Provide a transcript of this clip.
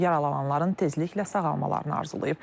Yaralananların tezliklə sağalmalarını arzulayıb.